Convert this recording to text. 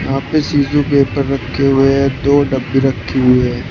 यहां पे शीशो के ऊपर रखे हुए हैं दो डब्बी रखी हुई है।